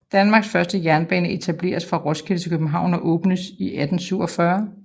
Danmarks første jernbane etableres fra Roskilde til København og åbnes i 1847